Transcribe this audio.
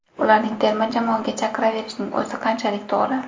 Ularni terma jamoaga chaqiraverishning o‘zi qanchalik to‘g‘ri?